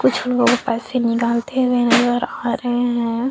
कुछ लोग पैसे निकलते हुए नज़र आ रहे है।